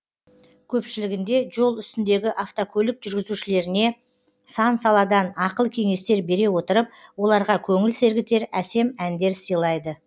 көпшілігінде жол үстіндегі автокөлік жүргізушілеріне сан саладан ақыл кеңестер бере отырып оларға көңіл сергітер әсем әндер сыйлайды